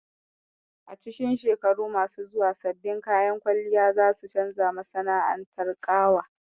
A cikin shekaru masu zuwa, sabbin kayan kwalliya za su canza masana'antar ƙawa